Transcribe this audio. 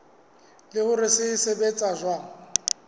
le hore se sebetsa jwang